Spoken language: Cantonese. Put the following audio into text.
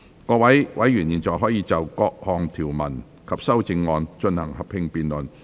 各位委員現在可以就各項條文及修正案，進行合併辯論。